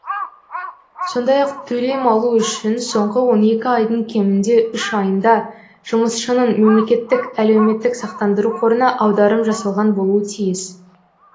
сондай ақ төлем алу үшін соңғы он екі айдың кемінде үш айында жұмысшының мемлекеттік әлеуметтік сақтандыру қорына аударым жасалған болуы тиіс